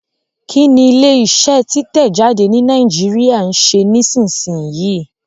Kí ni ilé iṣẹ́ títẹ̀ jáde ní Nàìjíríà ń ṣe nísinsìnyí?